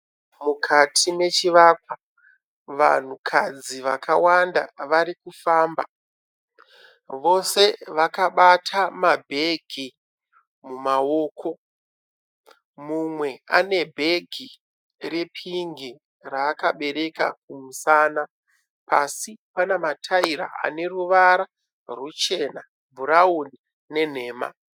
Mukati mechivakwa. Vanhukadzi vakawanda varikufamba. Vose vakabata mabhegi mumaoko. Mumwe ane bhegi repingi raakabereka kumusana. Pasi pane mataira aneruvara ruchena, bhurawuni nenhema.